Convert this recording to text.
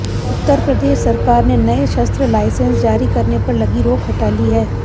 उत्तर प्रदेश सरकार ने नए शस्त्र लाइसेंस जारी करने पर लगी रोक हटा ली है